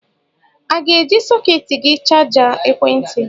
a ga-eji sọkètị gị chajịa ekwentị